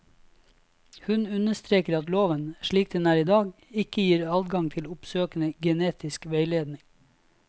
Hun understreker at loven, slik den er i dag, ikke gir adgang til oppsøkende genetisk veiledning.